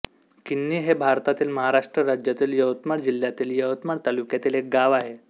कीन्ही हे भारतातील महाराष्ट्र राज्यातील यवतमाळ जिल्ह्यातील यवतमाळ तालुक्यातील एक गाव आहे